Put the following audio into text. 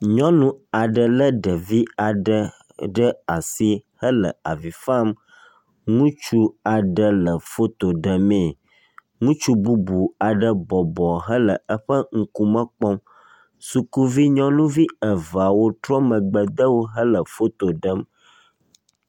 nyɔnu aɖe le ɖevi aɖe ɖe asi hele avi fam ŋutsu aɖe le foto ɖemee ŋutsu bubu aɖe bɔbɔ hele eƒe ŋkume kpɔm sukuvi nyɔnuvi eveawo trɔ megbe dewo hele foto ɖem